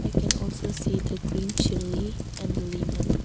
I can also see the green chilli and the lemon.